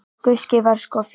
Gústi var sko fínn.